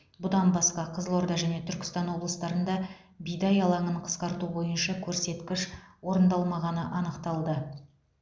бұдан басқа қызылорда және түркістан облыстарында бидай алаңын қысқарту бойынша көрсеткіш орындалмағаны анықталды